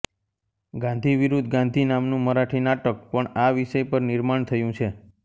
ગાંધી વિરુદ્ધ ગાંધી નામનું મરાઠી નાટક પણ આ વિષય પર નિર્માણ થયું છે